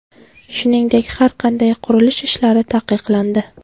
Shuningdek, har qanday qurilish ishlari taqiqlandi.